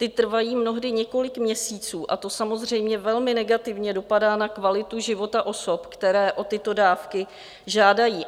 Ta trvají mnohdy několik měsíců a to samozřejmě velmi negativně dopadá na kvalitu života osob, které o tyto dávky žádají.